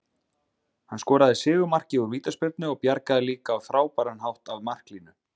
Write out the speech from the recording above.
Hann skoraði sigurmarkið úr vítaspyrnu og bjargaði líka á frábæran hátt af marklínu.